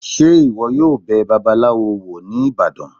Se iwọ yọọ bẹ̀ bàbálawo wo ní ibadan?